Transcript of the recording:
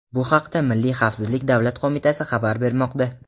Bu haqda Milliy xavfsizlik davlat qo‘mitasi xabar bermoqda.